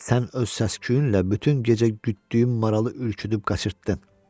Sən öz səs-küyünlə bütün gecə gütdüyüm maralı üküdüüb qaçırtdın.